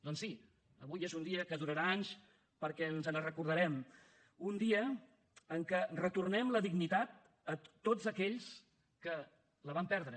doncs sí avui és un dia que durarà anys perquè ens en recordarem un dia en què retornem la dignitat a tots aquells que la van perdre